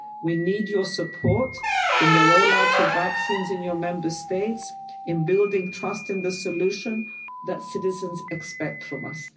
We need your support in the roll out of vaccines in your Member States and in building trust in the solution that citizens expect from us.